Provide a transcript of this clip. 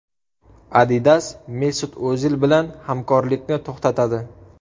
Adidas Mesut O‘zil bilan hamkorlikni to‘xtatadi.